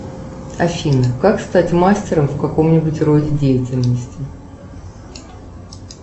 афина как стать мастером в каком нибудь роде деятельности